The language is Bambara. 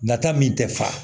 Nata min tɛ fa